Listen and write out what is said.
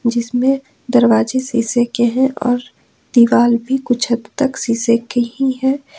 जिसमें दरवाजे शीशे के हैं और दीवार भी कुछ हद तक शीशे की ही है।